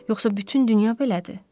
Yoxsa bütün dünya belədir?